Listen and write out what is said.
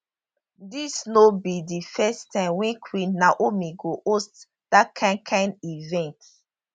dis no be di first time wey queen naomi go host dat kain kain event